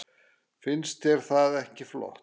Finnst þér það ekki flott?